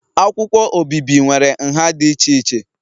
Akwụkwọ obibi nwere nha dị iche iche